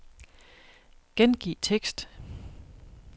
Gengiv tekst.